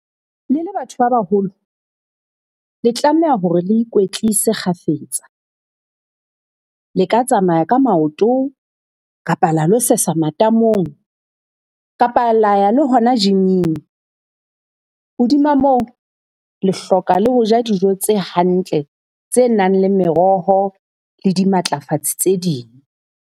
Le le batho ba baholo, le tlameha hore le ikwetlise kgafetsa. Le ka tsamaya ka maoto kapa la lo sesa matamong kapa la ya le hona gym-ing. Hodima moo, le hloka le ho ja dijo tse hantle, tse nang le meroho, le di matlafatse tse ding.